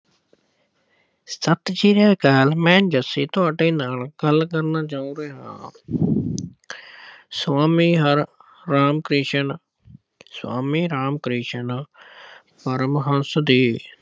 ਸਤਿ ਸ਼੍ਰੀ ਅਕਾਲ ਮੈਂ ਜੱਸੀ ਤੁਹਾਡੇ ਨਾਲ ਗੱਲ ਕਰਨਾ ਚਾਹੁੰਦਾ ਹਾਂ। ਸੁਆਮੀ ਹਰਿ ਰਾਮ ਕ੍ਰਿਸ਼ਨ ਸੁਆਮੀ ਰਾਮ ਕ੍ਰਿਸ਼ਨ ਪਰਮਹੰਸ ਜੀ